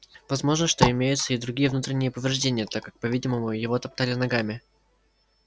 возможно что имеются и другие внутренние повреждения так как по-видимому его топтали ногами